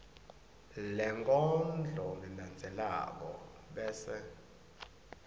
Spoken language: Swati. lenkondlo lelandzelako bese